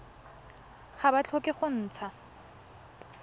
ga ba tlhoke go ntsha